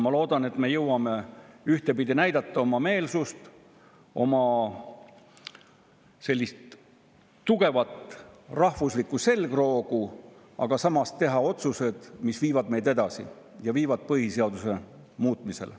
Ma loodan, et me jõuame ühtpidi näidata oma meelsust, oma tugevat rahvuslikku selgroogu, ja samas teha otsuseid, mis viivad meid edasi, viivad põhiseaduse muutmisele.